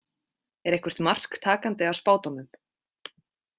Er eitthvert mark takandi á spádómum.